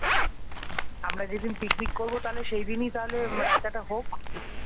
আমরা যেদিন পিকনিক করব মানে সেই দিনই তাহলে রাইতাটা হোক ।